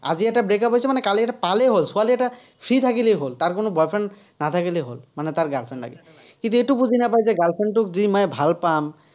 আজি এটা break-up হৈছে মানে, কালি এটা পালেই হ'ল, ছোৱালী এটা free থাকিলেই হ'ল, তাৰ কোনো boy friend নাথাকিলেই হ'ল, মানে তাৰ এটা girl friend লাগে। কিন্তু, এইটো বুজি নাপায় যে girl friend টোক যদি মই যে মই ভাল পাম।